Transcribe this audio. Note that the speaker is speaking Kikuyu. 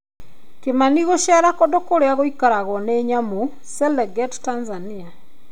Kĩmani guceera kũndũ kurĩa gũikaragwo nĩ nyamũ, Serengeti Tanzania.